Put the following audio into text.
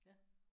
Ja